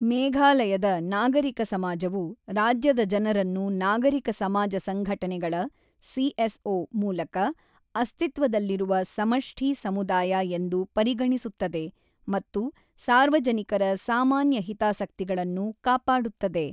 ಮೇಘಾಲಯದ ನಾಗರಿಕ ಸಮಾಜವು ರಾಜ್ಯದ ಜನರನ್ನು ನಾಗರಿಕ ಸಮಾಜ ಸಂಘಟನೆಗಳ (ಸಿಎಸ್ಒ) ಮೂಲಕ ಅಸ್ತಿತ್ವದಲ್ಲಿರುವ ಸಮಷ್ಠಿ ಸಮುದಾಯ ಎಂದು ಪರಿಗಣಿಸುತ್ತದೆ ಮತ್ತು ಸಾರ್ವಜನಿಕರ ಸಾಮಾನ್ಯ ಹಿತಾಸಕ್ತಿಗಳನ್ನು ಕಾಪಾಡುತ್ತದೆ.